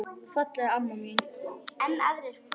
Fallega amma mín.